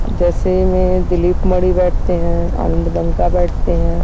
जैसे में दलीप बैठते है बैठते है।